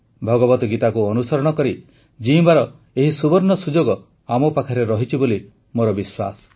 ଭଗବତ୍ ଗୀତାକୁ ଅନୁସରଣ କରି ଜୀଇଁବାର ଏହି ସୁବର୍ଣ୍ଣ ସୁଯୋଗ ଆମ ପାଖରେ ରହିଛି ବୋଲି ମୋର ବିଶ୍ୱାସ